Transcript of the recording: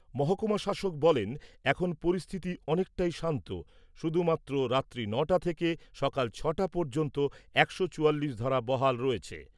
মহকুমা শাসক বলেন, এখন পরিস্থিতি অনেকটাই শান্ত, শুধুমাত্র রাত্রি ন'টা থেকে সকাল ছ'টা পর্যন্ত একশো চুয়াল্লিশ ধারা বহাল রয়েছে।